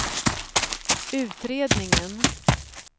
utredningen